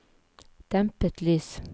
dempet lys